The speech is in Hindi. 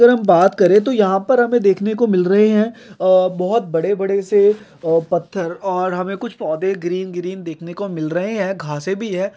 अगर हम बात करे तो यहाँ पर हमे देखने को मिल रहे है अ बोहोत बड़े-बड़े से अ पत्थर और हमे कुछ पौधे ग्रीन ग्रीन देखने को मिल रहे है घासे भी है ।